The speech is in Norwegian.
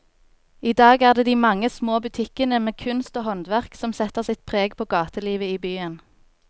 I dag er det de mange små butikkene med kunst og håndverk som setter sitt preg på gatelivet i byen.